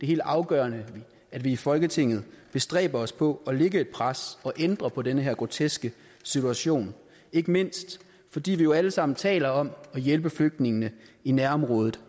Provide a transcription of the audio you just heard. helt afgørende at vi i folketinget bestræber os på at lægge et pres og ændre på den her groteske situation ikke mindst fordi vi jo alle sammen taler om at hjælpe flygtningene i nærområdet